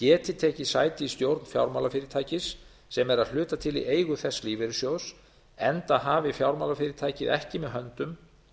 geti tekið sæti í stjórn fjármálafyrirtækis sem er að hluta til í eigu þess lífeyrissjóðs enda hafi fjármálafyrirtækið ekki með höndum